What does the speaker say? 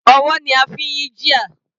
Ọwọ́ ni a fi ń yí gear.